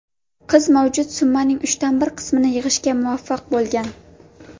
Qiz mavjud summaning uchdan bir qismini yig‘ishga muvaffaq bo‘lgan.